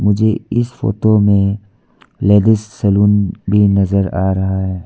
मुझे इस फोटो में लेडिस सलून भी नजर आ रहा है।